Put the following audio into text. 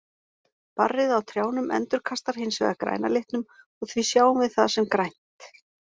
Barrið á trjánum endurkastar hins vegar græna litnum og því sjáum við það sem grænt.